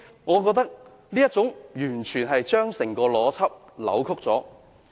我覺得這是完全扭曲了整個邏輯。